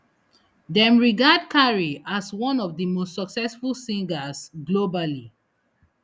dem regard carey as one of di most successful singers globally